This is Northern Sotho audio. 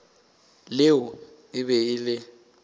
leo e be e le